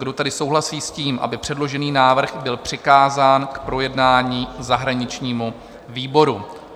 Kdo tedy souhlasí s tím, aby předložený návrh byl přikázán k projednání zahraničnímu výboru?